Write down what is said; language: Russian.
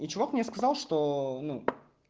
и чувак мне сказал что ну